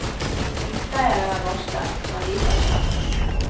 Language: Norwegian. Utleieren er varslet, men lite har skjedd.